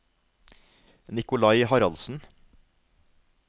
Nicolai Haraldsen